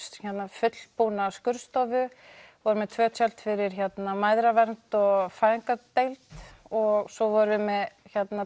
fullbúna skurðstofu tvö tjöld fyrir mæðravernd og fæðingadeild og svo vorum við með